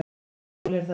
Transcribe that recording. Maður þolir það.